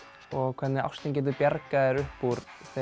og hvernig ástin getur bjargað þér upp úr